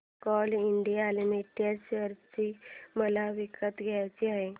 Coal India limited share मला विकत घ्यायचे आहेत